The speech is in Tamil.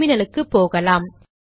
டெர்மினலுக்கு போகலாம்